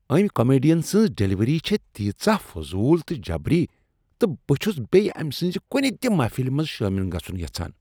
أمۍ کامیڈین سٕنٛز ڈلیوری چھےٚ تیژاہ فضول تہٕ جبری تہٕ بہٕ چھس نہٕ بیٚیہ أمۍ سٕنٛز کنہ تہ محفلہ منٛز شٲمل گژھن یژھان۔